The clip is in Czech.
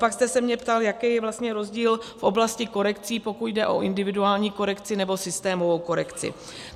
Pak jste se mě ptal, jaký je vlastně rozdíl v oblasti korekcí, pokud jde o individuální korekci nebo systémovou korekci.